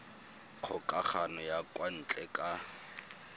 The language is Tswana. kgokagano ya kwa ntle ka